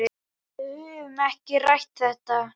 Við höfum ekki rætt þetta.